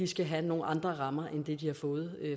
skal have nogle andre rammer end dem de har fået